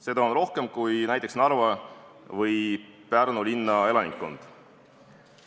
Seda on rohkem, kui on näiteks Narva või Pärnu linna elanikkond.